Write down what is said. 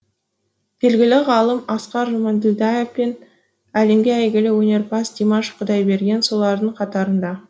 белгілі ғалым асқар жұмаділдаев пен әлемге әйгілі өнерпаз димаш құдайберген солардың қатарында